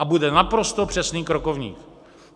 A bude naprosto přesný krokovník.